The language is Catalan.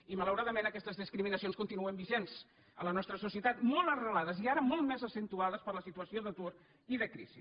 i malauradament aquestes discriminacions continuen vigents en la nostra societat molt arrelades i ara molt més accentuades per la situació d’atur i de crisi